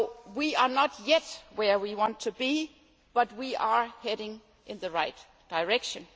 We are not yet where we want to be, but we are heading in the right direction.